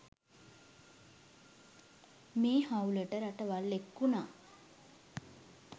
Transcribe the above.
මේ හවුලට රටවල් එක් වුණා.